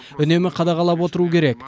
үнемі қадағалап отыру керек